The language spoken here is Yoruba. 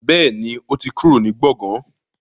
Bẹ́ẹ̀ni, ó ti kúrò ní gbọ̀gán